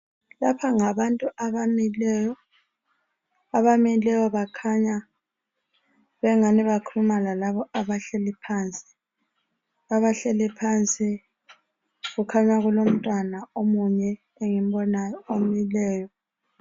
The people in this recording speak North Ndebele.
Lapha ngabantu abamileyo , abamileyo bakhanya bengani bakhuluma lalaba abahleli phansi. Abahleli phansi kukhanya kulomtwana omunye engimbonayo emileyo.